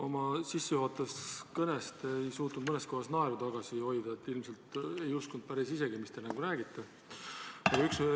Oma sissejuhatavas kõnes ei suutnud te mõnes kohas naeru tagasi hoida, ilmselt ei uskunud päris isegi, mis te räägite.